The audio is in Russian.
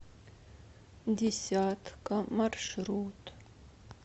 десятка маршрут